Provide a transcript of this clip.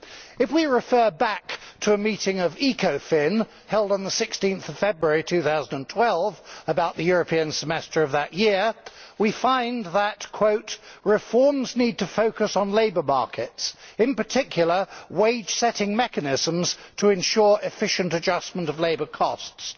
If we refer back to a meeting of ECOFIN, held on 16February2012, about the European Semester of that year, we find that reforms need to focus on labour markets in particular wage setting mechanisms to ensure efficient adjustment of labour costs'.